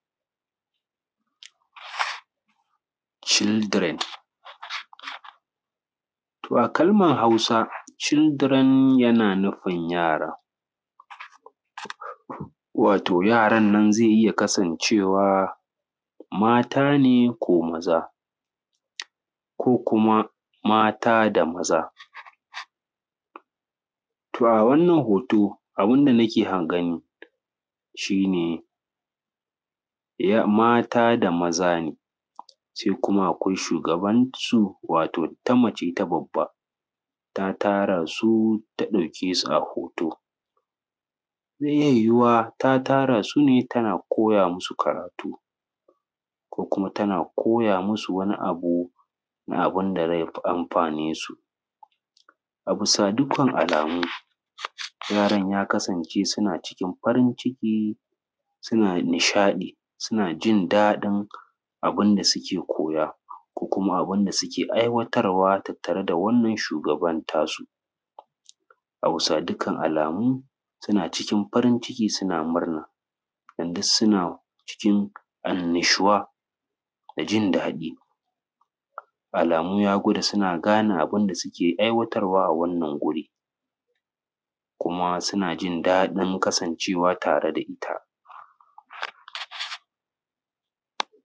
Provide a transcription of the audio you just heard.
Children a kalmar Hausa children yana nufin yara wato yaran nan zai iya kasancewa mata ne ko maza ko kuma mata da maza to a Wannan hoto abun da nake gani mata da maza kuma akwai shugabansu ta mace ita babba ta tara su ta ɗauke su a hoto zai iya yuwuwa ta tara su ne tana koya musu karatu ko kuma tana koya to masu wani abun da zai amfane su. Da dukkan alamu yaran ya kasan ce suna cikin farin ciki suna nishadi suna jin dadin abun da suke koya suke aiwatar tattare da wannan shugaban nasu a bisa dukkan alamu suna cikin farin ciki suna cikin annashuwa da jin dadin alamu ya na gwada suna gane abun da suke aiwatar a wannan guri kuma suna jin dadin kasancewa tare da ita.